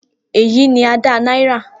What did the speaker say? Eyi ni Ada Naira.